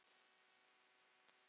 Magnús: Og tekur lýsi?